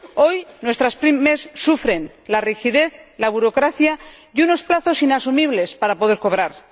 Hoy, nuestras PYME sufren la rigidez, la burocracia y unos plazos inasumibles para poder cobrar.